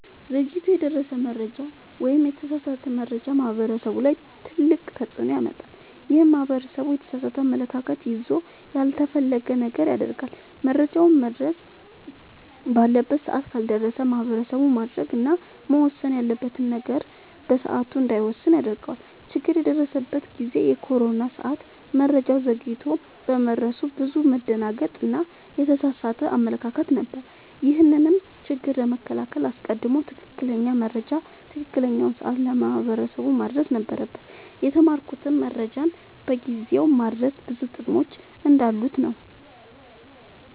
ዘግይቶ የደረሰ መረጃ ወይም የተሳሳተ መረጃ ማህበረሰቡ ላይ ትልቅ ተፅዕኖ ያመጣል። ይህም ማህበረሰቡ የተሳሳተ አመለካከት ይዞ ያልተፈለገ ነገር ያደርጋል። መረጃውም መድረስ ባለበት ሰዓት ካልደረሰ ማህበረሰቡ ማድረግ እና መወሰን ያለበትን ነገር በሰዓቱ እንዳይወስን ያደርገዋል። ችግር የደረሰበት ጊዜ የኮሮና ሰዓት መረጃው ዘግይቶ በመድረሱ ብዙ መደናገጥ እና የተሳሳተ አመለካከት ነበር። ይህንንም ችግር ለመከላከል አስቀድሞ ትክክለኛ መረጃ በትክክለኛው ሰዓት ለማህበረሰቡ ማድረስ ነበረብን። የተማርኩትም መረጃን በጊዜው ማድረስ ብዙ ጥቅሞች እንዳሉት ነወ።